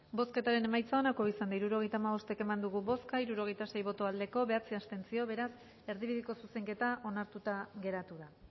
bozketaren emaitza onako izan da hirurogeita hamabost eman dugu bozka hirurogeita sei boto aldekoa bederatzi abstentzio beraz erdibideko zuzenketa onartuta geratu da